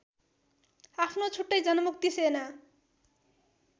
आफ्नो छुट्टै जनमुक्ति सेना